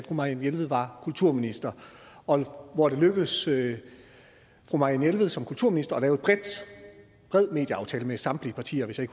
marianne jelved var kulturminister og hvor det lykkedes fru marianne jelved som kulturminister at lave en bred medieaftale med samtlige partier hvis jeg